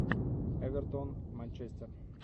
эвертон манчестер